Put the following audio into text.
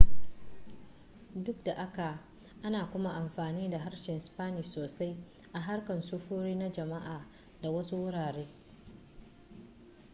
duk da haka ana kuma amfani da harshen spanish sosai a harkar sufuri na jama'a da wasu wurare